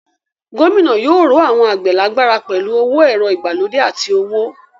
Gómìnà yóò ró àwọn àgbẹ̀ lágbára pẹ̀lú àwọn ẹ̀rọ ìgbàlódé àti owó.